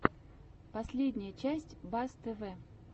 последняя часть бас тв